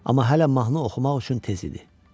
Amma hələ mahnı oxumaq üçün tez idi.